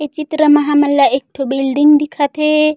ये चित्र म हमन ला एकठो बिल्डिंग दिखत हे।